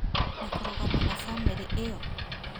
Na kũrũgama na bamĩrĩ ĩyo